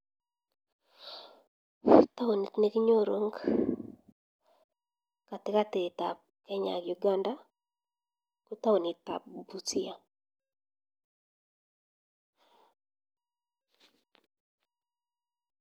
Taonit ne kinyoru ing katikatit ab kenya ak uganda ko taonit ab busia